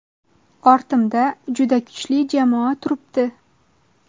Ortimda juda kuchli jamoa turibdi.